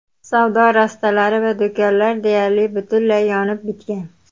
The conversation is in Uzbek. Savdo rastalari va do‘konlar deyarli butunlay yonib bitgan.